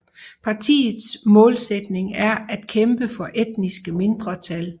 Partiets målsætning er at kæmpe for etniske mindretal